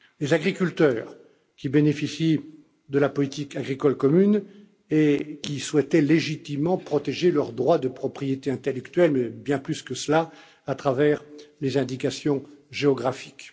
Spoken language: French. Uni. Les agriculteurs qui bénéficient de la politique agricole commune et qui souhaitaient légitimement protéger leurs droits de propriété intellectuelle, et bien plus que cela, à travers les indications géographiques.